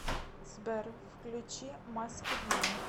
сбер включи маскед ман